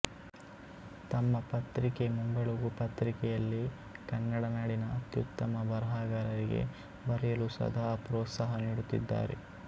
ತಮ್ಮ ಪತ್ರಿಕೆ ಮುಂಬೆಳಗು ಪತ್ರಿಕೆಯಲ್ಲಿ ಕನ್ನಡನಾಡಿನ ಅತ್ಯುತ್ತಮ ಬರಹಗಾರರಿಗೆ ಬರೆಯಲು ಸದಾ ಪ್ರೋತ್ಸಾಹನೀಡುತ್ತಿದ್ದಾರೆ